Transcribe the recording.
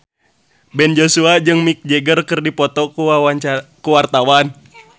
Ben Joshua jeung Mick Jagger keur dipoto ku wartawan